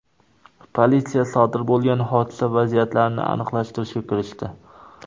Politsiya sodir bo‘lgan hodisa vaziyatlarini aniqlashtirishga kirishdi.